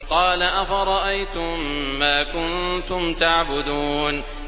قَالَ أَفَرَأَيْتُم مَّا كُنتُمْ تَعْبُدُونَ